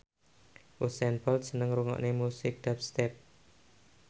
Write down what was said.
Usain Bolt seneng ngrungokne musik dubstep